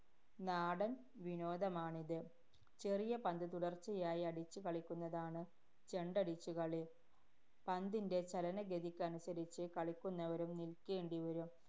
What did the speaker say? നാടന്‍ വിനോദമാണിത്. ചെറിയ പന്ത് തുടര്‍ച്ചയായി അടിച്ച് കളിക്കുന്നതാണ് ചെണ്ടടിച്ചു കളി. പന്തിന്‍റെ ചലനഗതിക്കനുസരിച്ച്, കളിക്കുന്നവരും നില്ക്കേണ്ടിവരും.